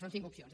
són cinc opcions